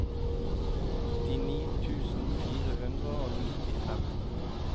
åttini tusen fire hundre og nittifem